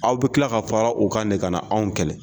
Aw bɛ tila ka fara u kan de ka na anw kɛlɛ